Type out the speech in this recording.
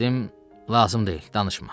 Dedim, lazım deyil danışma.